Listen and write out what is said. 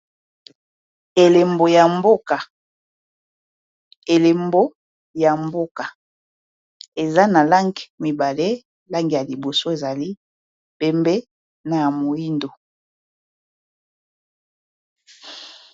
Elembo ya mboka eza na lange mibale langi ya liboso ezali pembe na ya moyindo.